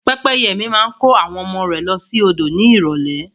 Pẹ́pẹ́yẹ mi máa kó àwọn ọmọ rẹ̀ lọ sí odò ní ìrólé